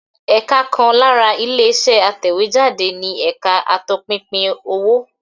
Ẹ̀ka kan lára ilé-iṣẹ́ atẹ̀wéjáde ni ẹ̀ka atọpinpin owó.